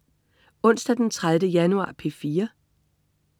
Onsdag den 30. januar - P4: